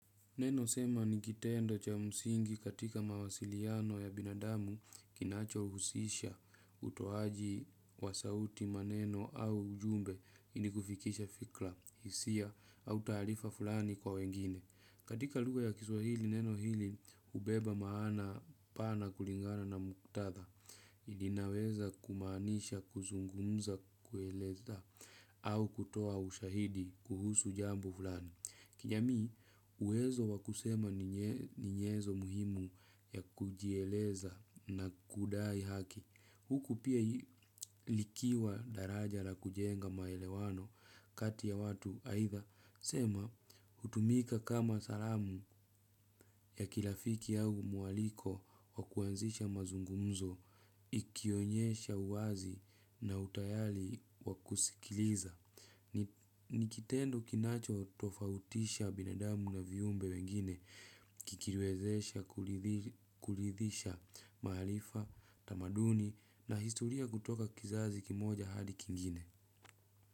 Neno sema ni kitendo cha msingi katika mawasiliano ya binadamu kinachohusisha utoaji wa sauti maneno au ujumbe ili kufikisha fikra, hisia, au taarifa fulani kwa wengine. Katika lugha ya kiswahili, neno hili hubeba maana pana kulingana na muktadha. Linaweza kumaanisha kuzungumza kueleza au kutoa ushahidi kuhusu jambo fulani. Kijamii uwezo wa kusema ni nyezo muhimu ya kujieleza na kudai haki. Huku pia likiwa daraja la kujenga maelewano kati ya watu aidha. Sema hutumika kama salamu ya kirafiki au mwaliko wa kuanzisha mazungumzo ikionyesha wazi na utayari wa kusikiliza. Ni kitendo kinachotofautisha binadamu na viumbe wengine, kikiwezesha, kuridhisha, maarifa, tamaduni na historia kutoka kizazi kimoja hadi kingine.